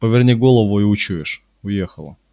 поверни голову и учуешь уехала